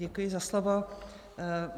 Děkuji za slovo.